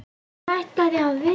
Hann ætlaði að vinna.